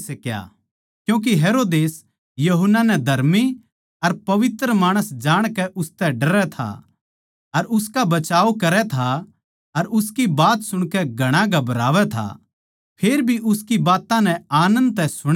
क्यूँके हेरोदेस यूहन्ना नै धर्मी अर पवित्र माणस जाणकै उसतै डरै था अर उसका बचाव करै था अर उसकी बात सुणकै घणा घबरावै था फेर भी उसकी बात्तां नै आनन्द तै सुणै था